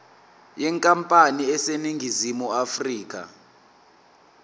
yenkampani eseningizimu afrika